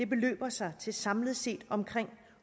beløber sig til samlet set omkring